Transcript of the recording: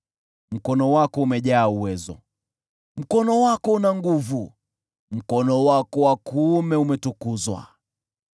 Mkono wako umejaa uwezo; mkono wako una nguvu, mkono wako wa kuume umetukuzwa.